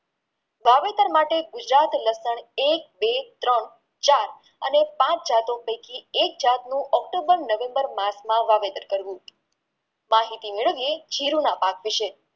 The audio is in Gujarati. વાવેતર માટે ગુજરાત લક્ષણ એક બે ત્રણ ચાર અને પાંચ જતો પૈકી કે જાતનું ઓક્ટોમ્બર નવેમ્બર માં વાવેતર કરવું માહિતી મેળવીયે જીરુંના પાક વિષે